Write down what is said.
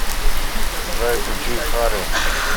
джой включи хару